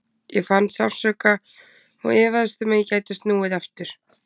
Ég fann sársauka og efaðist um að ég gæti snúið aftur.